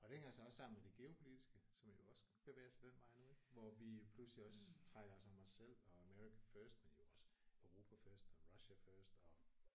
Og det hænger så også sammen med det geopolitiske som jo også bevæger sig den vej nu ik hvor vi jo pludselig også trækker os om os selv og America first men jo også Europa first og Russia first og